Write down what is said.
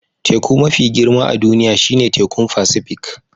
Teku mafi girma a duniya shine Tekun Pacific